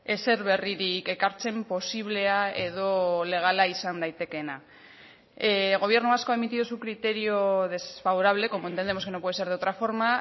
ezer berririk ekartzen posiblea edo legala izan daitekeena el gobierno vasco ha emitido su criterio desfavorable como entendemos que no puede ser de otra forma